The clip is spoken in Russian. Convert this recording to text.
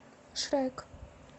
шрек